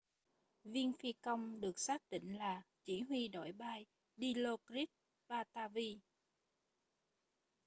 viên phi công được xác định là chỉ huy đội bay dilokrit pattavee